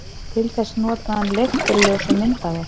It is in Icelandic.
Til þess notaði hann leifturljós úr myndavél.